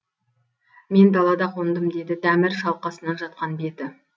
мен далада қондым деді дәмір шалқасынан жатқан беті